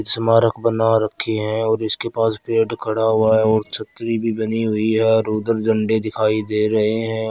स्मारक बना रखे है और इसके पास गेट खड़ा हुआ है और छतरी भी बनी हुई है उधर झंडे दिखाई दे रहे है।